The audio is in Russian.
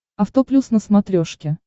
авто плюс на смотрешке